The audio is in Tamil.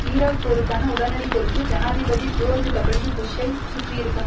ஈராக் போருக்கான உடனடி பொறுப்பு ஜனாதிபதி ஜோர்ஜ் டபுள்யூ புஷ்ஷைச் சுற்றியிருக்கும்